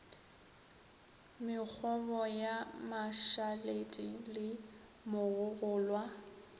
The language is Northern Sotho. mekgobo ya mašaledi le mogogolwa